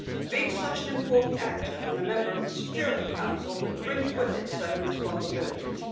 Being such an important actor and a member of the Security Council brings with it certain responsibilities.